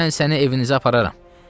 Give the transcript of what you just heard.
Mən səni evinizə apararam.